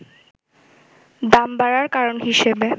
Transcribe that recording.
দাম বাড়ার কারণ হিসেবে